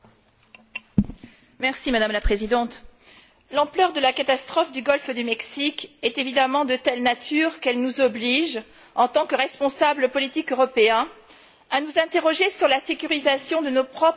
Madame la Présidente, l'ampleur de la catastrophe du golfe du Mexique est évidemment de nature telle qu'elle nous oblige, en tant que responsables politiques européens, à nous interroger sur la sécurisation de nos propres installations pétrolières.